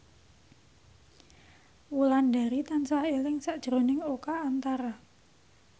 Wulandari tansah eling sakjroning Oka Antara